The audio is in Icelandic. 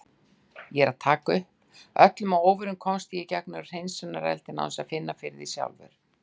Öllum að óvörum komst ég í gegnum hreinsunareldinn án þess að finna fyrir því sjálfur.